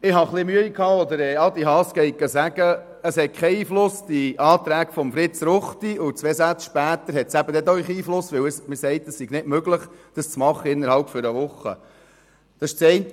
Ich hatte etwas Mühe, als Adrian Haas sagte, die Anträge von Fritz Ruchti hätten keinen Einfluss, und zwei Sätze später hat es eben doch einen Einfluss, weil es nicht möglich sei, über diese Frage innert einer Woche zu entscheiden.